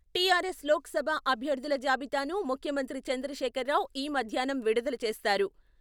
TRS Lok Sabha అభ్యర్థుల జాబితాను ముఖ్యమంత్రి చంద్రశేఖర్రావు ఈ మధ్యాహ్నం విడుదల చేస్తారు.